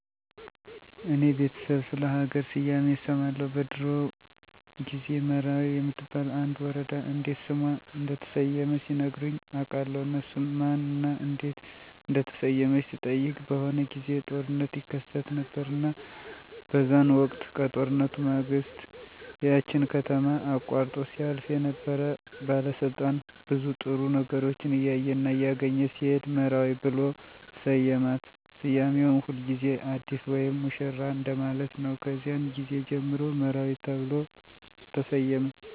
እኔ በቤተሰብ ስለ ሀገር ስያሜ እሰማለሁ በድሮዎ ጊዜ መራዊ የምትባል አንድ ወረዳ እንዴት ስሟ እንደተሰየመ ሲነግሩኝ አቃለሁ እሱንም ማን እና እንዴት እንደተሰየመች ስጠይቅ በሆነ ጊዜ ጦርነት ይከሰት ነበረ እና በዛን ወቅት ከጦርነቱ ማግስት ያችን ከተማ አቆርጦ ሲያልፍ የነበረ ባለስልጣን ብዙ ጥሩ ነገሮችን እያየና እያገኘ ሲሄድ መራዊ ብሎ ሰየማት ስያሜውም ሁልጊዜ አዲስ ወይም ሙሽራ እንደማለት ነው ከዚያን ጊዜ ጀምሮ መራዊ ተብሎ ተሰየመ።